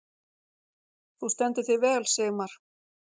Þú stendur þig vel, Sigmar!